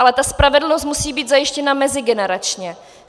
Ale ta spravedlnost musí být zajištěna mezigeneračně.